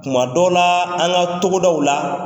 Tuma dɔ la, an ka togodaw la.